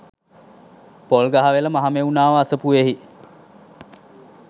Polgahawela Mahamevnawa අසපුවෙහි